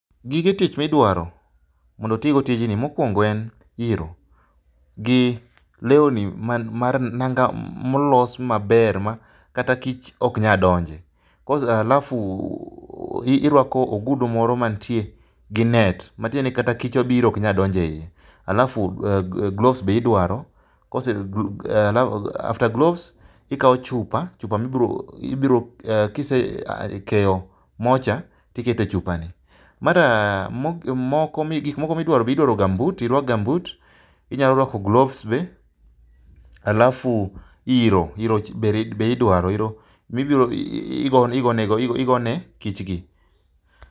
Gige tich midwma mondo otigo tijni mokuongo en iro. Gi lewni nanga molos maber kata kich ok nyal donje alafu irwako ogudu moro mantie gi net matiendeni kata kich obiro to ok nyal donjo eiye. Alafu gloves be idwaro, after gloves ikawo chupa, chupa ma ibiro kise kayo mocha to iketo e chupani, gik moko ma be idwaro irwak gambut inyalo rwako gloves be alafu iro. iro be idwaro alafu igo nekich gi.